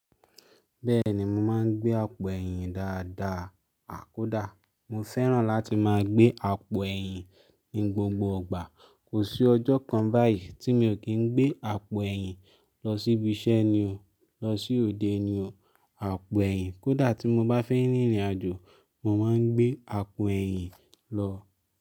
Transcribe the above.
Bẹ́ẹ̀ni, mo máa ń gbé àpò ẹ̀yìn dáadáa kódà mo fẹ́ràn láti máa gbé àpò ẹ̀yìn ní gbogbo ìgbà. Kò sí ọjọ́ kan báyìí tí mi ò kí ń gbé àpò ẹ̀yìn lọ síbi iṣẹ́ ni o, lọ sí òde ni o. Àpò ẹ̀yìn kódà tí mo bá fẹ́ rin ìrìnàjò, mo máa ń gbé àpò ẹ̀yìn lọ.